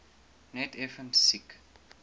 net effens siek